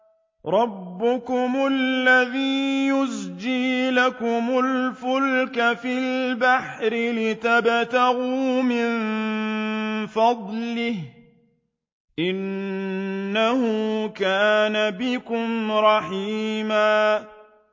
رَّبُّكُمُ الَّذِي يُزْجِي لَكُمُ الْفُلْكَ فِي الْبَحْرِ لِتَبْتَغُوا مِن فَضْلِهِ ۚ إِنَّهُ كَانَ بِكُمْ رَحِيمًا